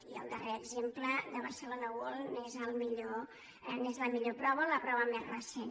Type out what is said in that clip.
i el darrer exemple de barcelona world n’és la millor prova o la prova més recent